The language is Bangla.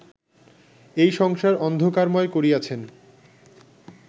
এই সংসার অন্ধকারময় করিয়াছেন